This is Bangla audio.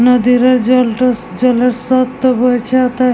নদীর এই জলটা স জলের স্রোতটা বইছে ওতে--